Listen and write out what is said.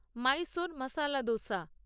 Mysore masala dosa